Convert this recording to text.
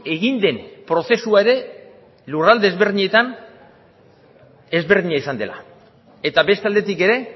egin den prozesua ere lurralde ezberdinetan ezberdina izan dela eta beste aldetik ere